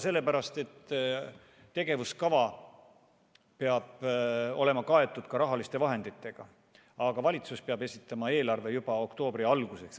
Sellepärast, et tegevuskava peab olema kaetud ka rahaliste vahenditega, aga valitsus peab esitama Riigikogule eelarve juba oktoobri alguseks.